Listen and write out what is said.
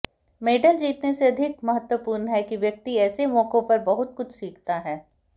medal जीतने से अधिक महत्वपूर्ण है कि व्यक्ति ऐसे मौकों पर बहुत कुछ सीखता है